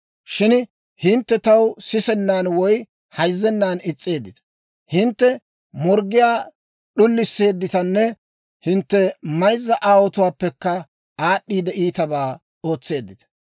Shin hintte taw sisennan woy hayzzennan is's'eeddita. Hintte morggiyaa d'ulisseedditanne hintte mayzza aawotuwaappekka aad'd'iide, iitabaa ootseeddita.